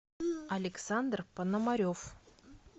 александр пономарев